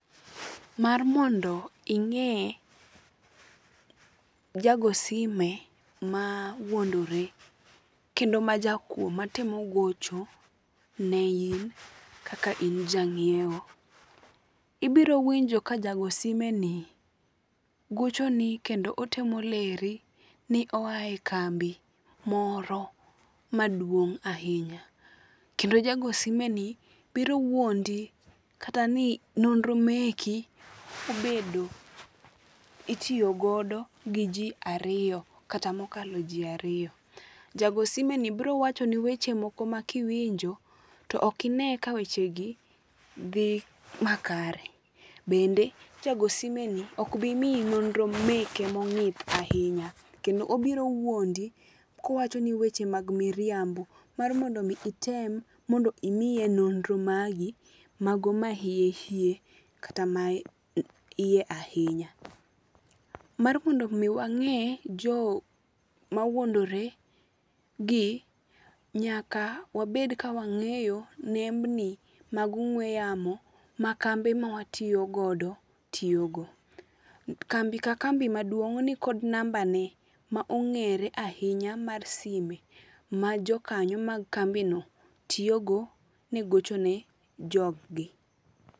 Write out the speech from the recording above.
Mar mondo ing'e jagosime mawuondore kendo majakuo matemo gocho ne in kaka in jang'iewo. Ibiro winjo ka jogo simeni gochoni kendo otemo leri ni oa e kambi moro maduong' ahinya kendo jago simeni biro wuondi kata ni nonro meki itiyo godo gi ji ariyo kata mokalo ji ariyo. Jago simeni bro wachoni weche moko ma kiwinjo to ok ine ka wechegi dhi makare. Bende jagosimeni ok bi miyi nonro meke mong'ith ahinya. Kendo obiro wuondi kowachoni weche mag miriambo mar mondo mi itemmondo imiye non ro magi mago ma hiye hiye kata maiye ahinya. Mar mondo mi wang'e jogo mawuondoregi nyaka wabed ka wang'eyo nembni mag ong'ue yamo ma kembe ma watiyo godo tiyo go. Kambi ka kambi maduong' nikod nambane ma ong'ere ahinya mar sime ma jokanyo mag kambino tiyogo ne gocho ne jog gi.